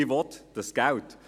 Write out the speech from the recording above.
ich will dieses Geld.